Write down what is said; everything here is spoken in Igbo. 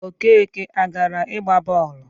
Okeke agara ịgba bọọlụ?